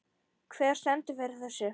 Hver stendur fyrir þessu?